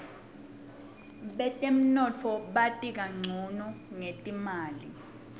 betemnotfo bati kancono ngetimali